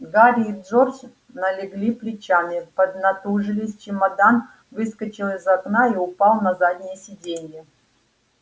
гарри и джордж налегли плечами поднатужились чемодан выскочил из окна и упал на заднее сиденье